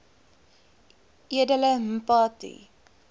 edele mpati